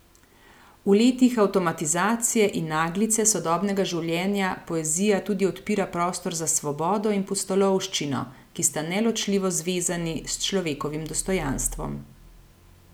V letih avtomatizacije in naglice sodobnega življenja poezija tudi odpira prostor za svobodo in pustolovščino, ki sta neločljivo zvezani s človekovim dostojanstvom.